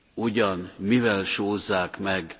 ugyan mivel sózzák meg?